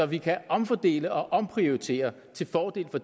vi kan omfordele og omprioritere til fordel for